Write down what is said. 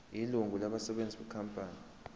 ilungu labasebenzi benkampani